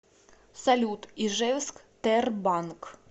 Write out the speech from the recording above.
салют ижевск тербанк